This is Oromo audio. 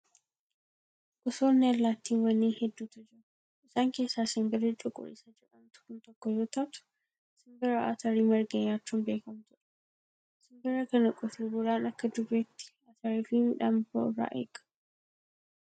Gosoonni allaattiiwwanii hedduutu jiru. Isaan keessaa simbirri cuquliisa jedhamtu kun tokko yoo taatu, simbira atarii marge nyaachuun beekamtudha. Simbira kana qotee bulaan akka jubeetti atarii fi midhaan biroo irraa eega.